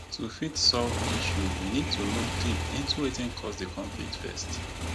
to fit solve issue we need to look deep into wetin cause di conflict first